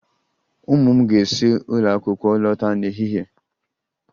Ụmụ m ga-esi n'ụlọ akwụkwọ lọta n'ehihie